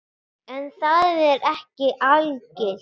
En það er ekki algilt.